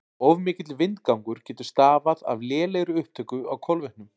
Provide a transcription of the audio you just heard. Of mikill vindgangur getur stafað af lélegri upptöku á kolvetnum.